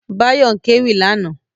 Báyọ̀ ń kéwì lánàá